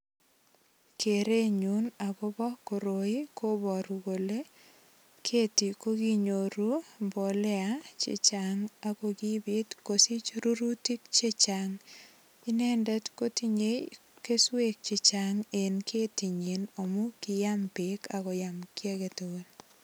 Kerenyun agobo koroi kobaru kole keti ko kinyor mbolea che chang ago kipit kosich rurutik chechang. Inendet kotinye keswek che chang en ketinyin amun kiyam beek ak koyam kiy agetugul.